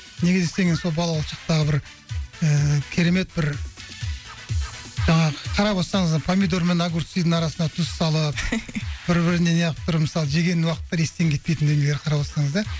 неге десеңіз сол балалық шақтағы бір ііі керемет бір жаңағы қарап отырсаңыз помидор мен огурцидың арасына тұз салып бір біріне неғып бір мысалы жеген уақыттар естен кетпейтін дүниелер қарап отырсаңыздар